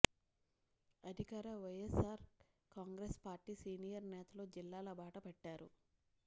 అధికార YSR Congress party senior నేతలు జిల్లాల బాట పట్టారు